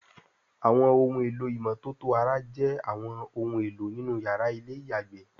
Àwọn ohun èlò ìmọ́tótó ara jé àwọn òun èló nínú yàrá Ilé-ìyàgbé